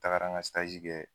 tagara n ka kɛ.